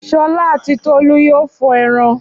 Ṣọlá àti Tolú yóò fọ ẹran.